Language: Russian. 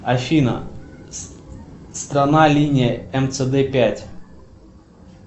афина страна линия мцд пять